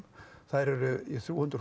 þær eru í þrjú hundruð